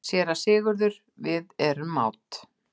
SÉRA SIGURÐUR: Við erum mát.